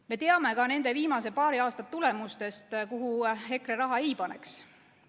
Me teame nende viimase paari aasta tulemustest, kuhu EKRE raha ei paneks.